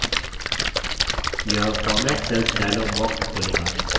यह format cells dialog box खोलेगा